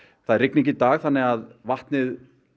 það er rigning í dag þannig að vatnið